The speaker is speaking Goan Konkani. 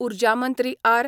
उर्जा मंत्री आर.